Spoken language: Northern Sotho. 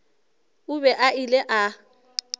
o be a ile a